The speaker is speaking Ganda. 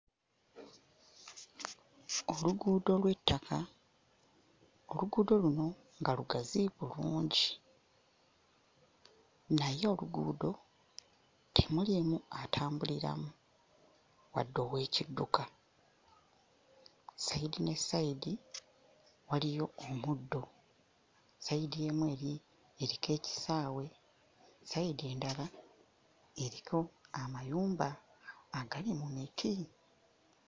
Oluguudo lw'ettaka. Oluguudo luno nga lugazi bulungi naye oluguudo temuliimu atambuliramu, wadde oweekidduka. Sayidi ne sayidi waliyo omuddo. Sayidi emu eri... eriko ekisaawe, sayidi endala eriko amayumba agali mu miti.